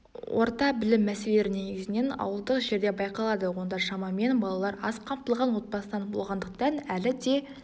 орта білім мәселелері негізінен ауылдық жерде байқалады онда шамамен балалар аз қамтылған отбасынан болғандықтан әлі де